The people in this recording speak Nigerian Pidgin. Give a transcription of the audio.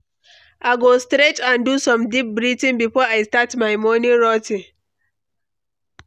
I go stretch and do some deep breathing before I start my morning routine.